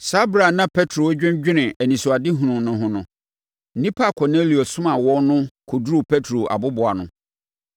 Saa ɛberɛ a na Petro redwennwene anisoadehunu no ho no, nnipa a Kornelio somaa wɔn no kɔduruu Petro aboboano.